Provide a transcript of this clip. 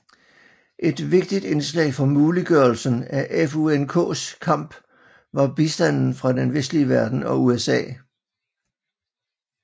Et vigtigt indslag for muliggørelsen af FUNKs kamp var bistanden fra Den vestlige verden og USA